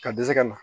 Ka dɛsɛ ka na